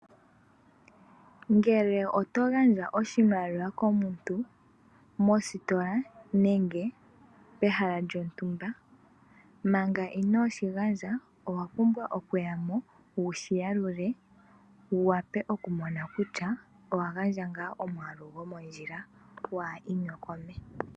Ngele oto gandja oshimaliwa komuntu, mositola nenge mehala lyontumba, manga inooshi gandja owa pumbwa okuyamo wushi yalule, wu wape okumona kutya owa gandja nga omwaalu gwomondjila, waa inyokome.